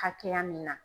Hakɛya min na